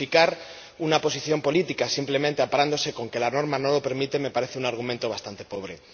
Justificar una posición política simplemente amparándose en que la norma no lo permite me parece un argumento bastante pobre.